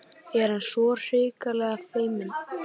Er hann svona hrikalega feiminn?